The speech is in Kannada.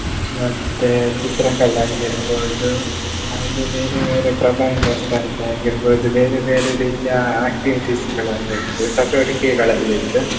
ಮತ್ತೆ ಚಿತ್ರಕಲಾ ಆಗಿರ್ಬಹುದು ಹಾಗೆ ಬೇರೆ ಬೇರೆ ಪ್ರಬಂಧ ಸ್ಪರ್ಧೆ ಆಗಿರ್ಬಹುದು ಬೇರೆ ಬೇರೆ ರೀತಿಯ activities ಗಳೆಲ್ಲ ಇತ್ತು. ಚಟುವಟಿಕೆಗಳೆಲ್ಲ ಇತ್ತು.